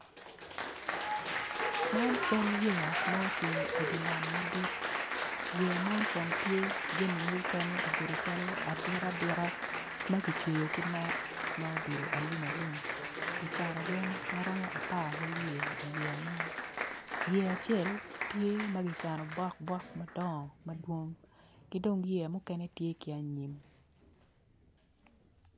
Man cal yeya ma ocung idinam madit yea man kono tye jami mukene obedo calo adita adita makicweyo ki net ma obedo alum alum gicano gi magiromo apararyo iyea man yea acel tye magicano bok bok madongo madwong kidong yea mukene tye ki anyim.